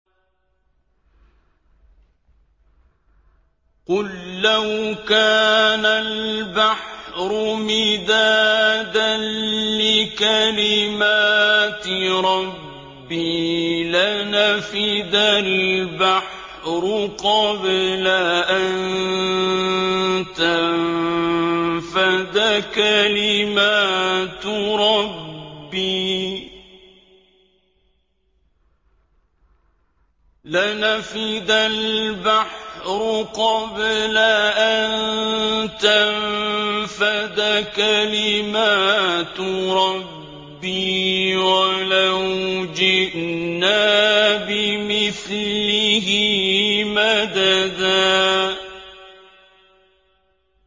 قُل لَّوْ كَانَ الْبَحْرُ مِدَادًا لِّكَلِمَاتِ رَبِّي لَنَفِدَ الْبَحْرُ قَبْلَ أَن تَنفَدَ كَلِمَاتُ رَبِّي وَلَوْ جِئْنَا بِمِثْلِهِ مَدَدًا